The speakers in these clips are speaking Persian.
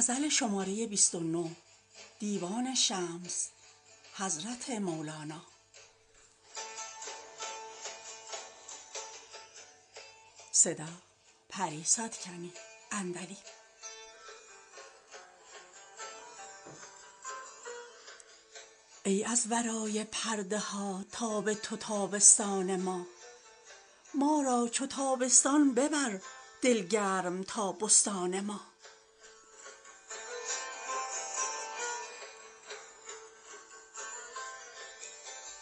ای از ورای پرده ها تاب تو تابستان ما ما را چو تابستان ببر دل گرم تا بستان ما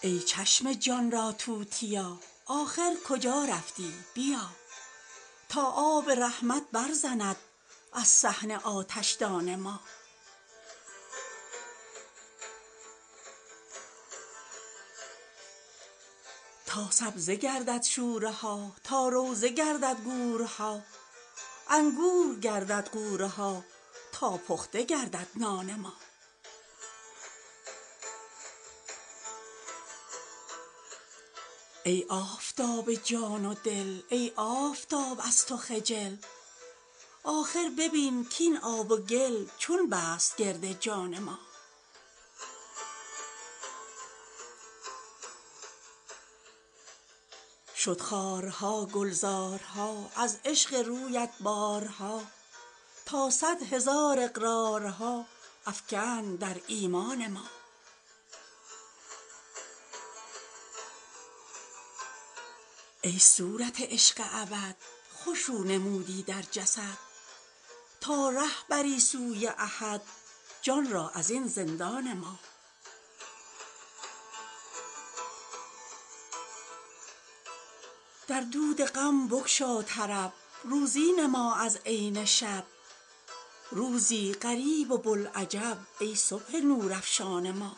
ای چشم جان را توتیا آخر کجا رفتی بیا تا آب رحمت برزند از صحن آتشدان ما تا سبزه گردد شوره ها تا روضه گردد گورها انگور گردد غوره ها تا پخته گردد نان ما ای آفتاب جان و دل ای آفتاب از تو خجل آخر ببین کاین آب و گل چون بست گرد جان ما شد خارها گلزارها از عشق رویت بارها تا صد هزار اقرارها افکند در ایمان ما ای صورت عشق ابد خوش رو نمودی در جسد تا ره بری سوی احد جان را از این زندان ما در دود غم بگشا طرب روزی نما از عین شب روزی غریب و بوالعجب ای صبح نورافشان ما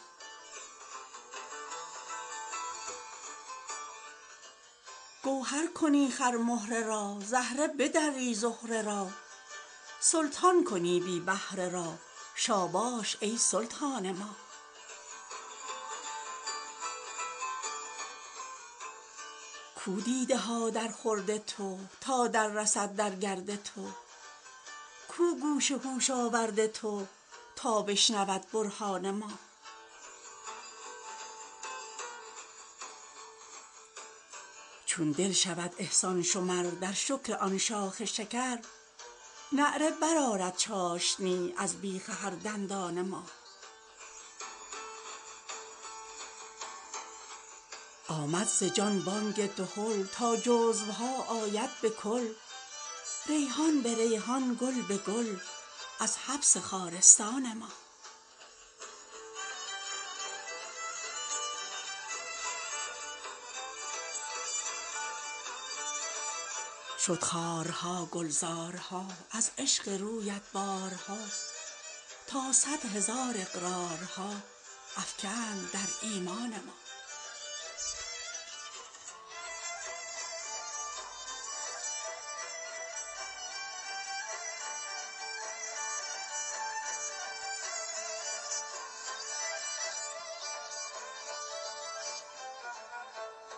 گوهر کنی خرمهره را زهره بدری زهره را سلطان کنی بی بهره را شاباش ای سلطان ما کو دیده ها درخورد تو تا دررسد در گرد تو کو گوش هوش آورد تو تا بشنود برهان ما چون دل شود احسان شمر در شکر آن شاخ شکر نعره برآرد چاشنی از بیخ هر دندان ما آمد ز جان بانگ دهل تا جزوها آید به کل ریحان به ریحان گل به گل از حبس خارستان ما